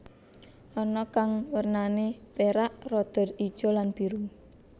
Ana kang wernané perak rada ijo lan biru